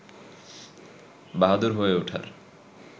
বাহাদুর হয়ে ওঠার